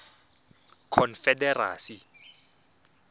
confederacy